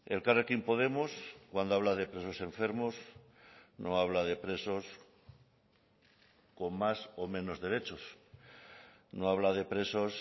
elkarrekin podemos cuando habla de presos enfermos no habla de presos con más o menos derechos no habla de presos